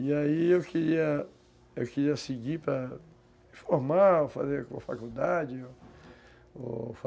E aí eu queria, queria seguir para formar, ou fazer faculdade.